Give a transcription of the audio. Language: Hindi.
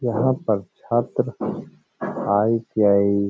यहाँ पर छात्र आई.टी.आई --